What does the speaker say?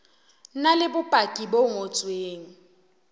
na le bopaki bo ngotsweng